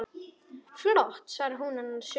Flott, svarar hún annars hugar.